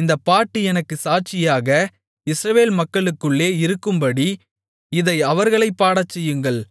இந்தப் பாட்டு எனக்குச் சாட்சியாக இஸ்ரவேல் மக்களுக்குள்ளே இருக்கும்படி இதை அவர்களைப் பாடச்செய்யுங்கள்